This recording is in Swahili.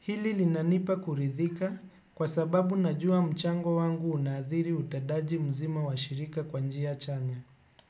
Hili linanipa kuridhika kwa sababu najua mchango wangu unaadhiri utendaji mzima wa shirika kwa njia chanya.